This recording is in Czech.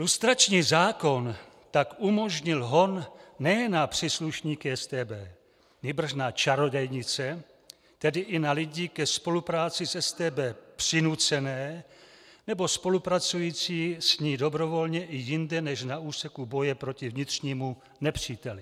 Lustrační zákon tak umožnil hon nejen na příslušníky StB, nýbrž na čarodějnice, tedy i na lidi ke spolupráci s StB přinucené nebo spolupracující s ní dobrovolně i jinde než na úseku boje proti vnitřnímu nepříteli.